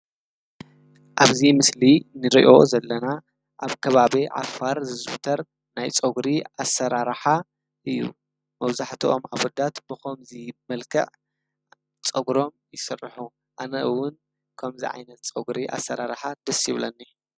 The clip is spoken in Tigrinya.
አብዚ ምስሊ ንሪኦ ዘለና አብ ከባቢ ዓፋር ዝዝውተር ናይ ፀጉሪ አሰራርሓ እዩ፡፡ መብዛሕትኦም አወዳት ብከምዚ መልክዕ ፀጉሮም ይስርሑ፡፡ አነ እውን ከምዚ ዓይነት ፀጉሪ አሰራርሓ ደስ ይብለኒ፡፡